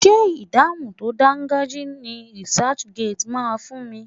Ṣé ìdáhùn tó dangajia ni researchgate máa fún mi?